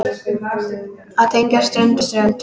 Að tengja strönd við strönd.